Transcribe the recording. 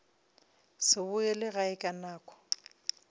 se boele gae ka nako